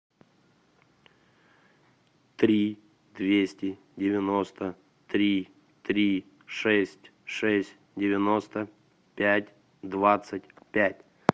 три двести девяносто три три шесть шесть девяносто пять двадцать пять